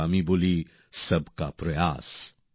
তাইতো আমি বলি সবকা প্রয়াস